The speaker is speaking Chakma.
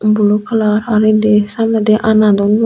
bulu kalar aro indi samnedi ana duon buo.